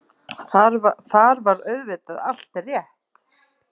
Þar var auðvitað allt rétt.